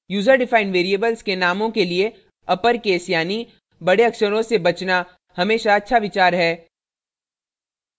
* user defined variables के नामों के लिए अपरकेस यानि बड़े अक्षरों से बचना हमेशा अच्छा विचार है